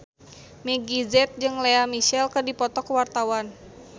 Meggie Z jeung Lea Michele keur dipoto ku wartawan